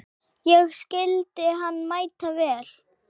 Ég skildi hann mæta vel.